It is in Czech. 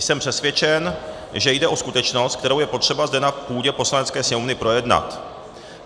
Jsem přesvědčen, že jde o skutečnost, kterou je potřeba zde na půdě Poslanecké sněmovny projednat.